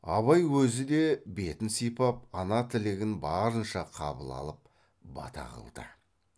абай өзі де бетін сипап ана тілегін барынша қабыл алып бата қылды